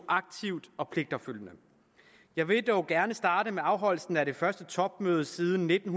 aktivt og pligtopfyldende jeg vil dog gerne starte med afholdelsen af det første topmøde siden nitten